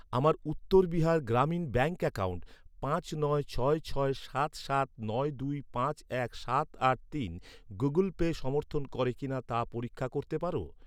আমার Uttar Bihar Gramin bank account পাঁচ নয় ছয় ছয় সাত সাত নয় দুই পাঁচ এক সাত আট তিন গুগল পে সমর্থন করে কিনা তা পরীক্ষা করতে পার?